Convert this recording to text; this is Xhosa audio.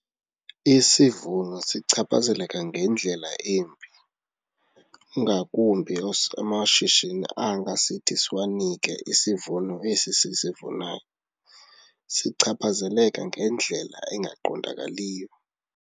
Isivuno sichaphazeleka ngendlela embi ngakumbi amashishini anga sithi siwanike isivuno esi sisivunayo, sichaphazeleka ngendlela engaqondakaliyo.